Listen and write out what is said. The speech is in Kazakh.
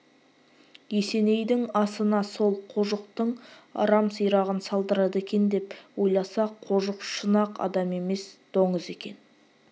есенейдің асына сол қожықтың арам сирағын салдырады екен деп ойласа қожық шын-ақ адам емес доңыз екен